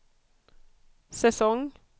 säsong